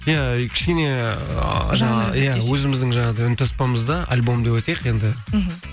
иә кішкене өзіміздің жаңағындай үнтаспамызда альбом деп айтайық енді мхм